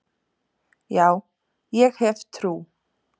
Já, ég hef trú.